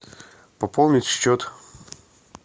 пополнить счет